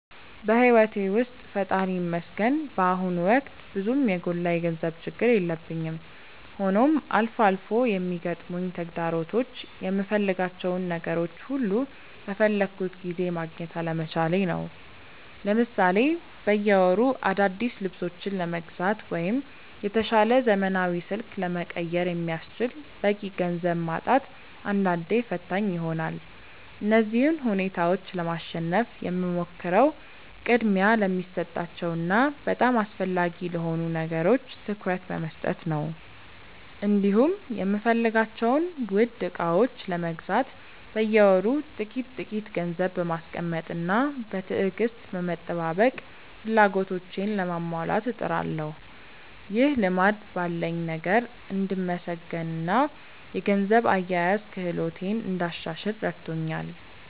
በሕይወቴ ውስጥ ፈጣሪ ይመስገን በአሁኑ ወቅት ብዙም የጎላ የገንዘብ ችግር የለብኝም፤ ሆኖም አልፎ አልፎ የሚገጥሙኝ ተግዳሮቶች የምፈልጋቸውን ነገሮች ሁሉ በፈለግኩት ጊዜ ማግኘት አለመቻሌ ነው። ለምሳሌ በየወሩ አዳዲስ ልብሶችን ለመግዛት ወይም የተሻለ ዘመናዊ ስልክ ለመቀየር የሚያስችል በቂ ገንዘብ ማጣት አንዳንዴ ፈታኝ ይሆናል። እነዚህን ሁኔታዎች ለማሸነፍ የምሞክረው ቅድሚያ ለሚሰጣቸው እና በጣም አስፈላጊ ለሆኑ ነገሮች ትኩረት በመስጠት ነው፤ እንዲሁም የምፈልጋቸውን ውድ ዕቃዎች ለመግዛት በየወሩ ጥቂት ጥቂት ገንዘብ በማስቀመጥና በትዕግስት በመጠባበቅ ፍላጎቶቼን ለማሟላት እጥራለሁ። ይህ ልማድ ባለኝ ነገር እንድመሰገንና የገንዘብ አያያዝ ክህሎቴን እንዳሻሽል ረድቶኛል።